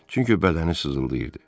Çünki bədəni sızıldayırdı.